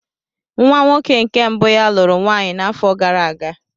Nwa nwoke nke mbụ ya lụrụ nwaanyị n'afọ gara aga.